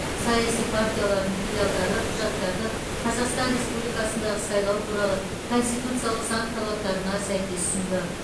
саяси партиялардың филиалдары құжаттарды қазақстан республикасындағы сайлау туралы конституциялық заң талаптарына сәйкес ұсынды